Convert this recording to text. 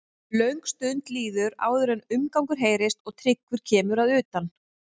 Löng stund líður áður en umgangur heyrist og Tryggvi kemur að utan.